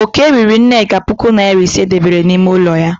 Oke riri nneka puku nari ise e debere n'ime ụlọ ya.